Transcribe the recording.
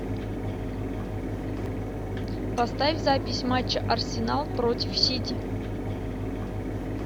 поставь запись матча арсенал против сити